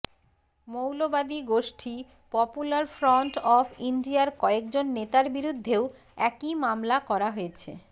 মৌলবাদী গোষ্ঠী popular front of ইন্ডিয়ার কয়েকজন নেতার বিরুদ্ধেও একই মামলা করা হয়েছে